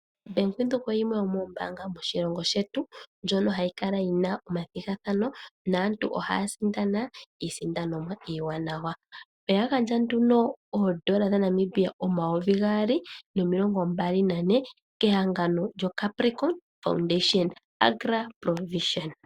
Bank Windhoek oyo yimwe yomoombaanga moshilongo shetu . Ohayi kala yi na omathigathano naantu ohaya sindana iisindanomwa iiwanawa. Oya gandja nduno N$ 224000 kehangano lyoCapricon foundation , Agra Provision.